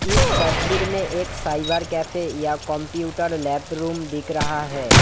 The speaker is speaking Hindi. इस तस्वीर में एक साइबर कैफे या कंप्यूटर लैब रूम दिख रहा है।